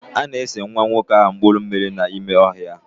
A na-ese nwa nwoke ahụ mpuru mmiri n'ime ọhịa.